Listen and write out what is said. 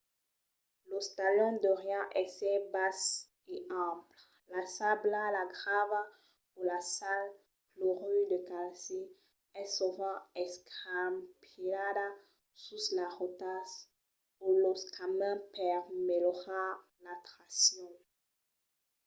los talons deurián èsser basses e amples. la sabla la grava o la sal clorur de calci es sovent escampilhada sus las rotas o los camins per melhorar la traccion